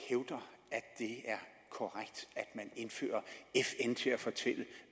korrekt at man indfører fn til at fortælle